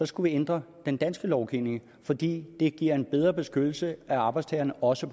skulle ændre den danske lovgivning fordi det giver en bedre beskyttelse af arbejdstagerne også